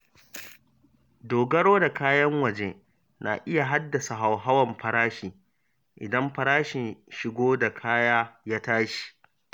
Dogaro da kayan waje na iya haddasa hauhawar farashi idan farashin shigo da kaya ya tashi.